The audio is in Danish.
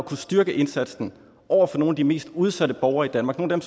kunne styrke indsatsen over for nogle af de mest udsatte borgere i danmark nogle